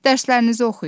Dərslərinizi oxuyun.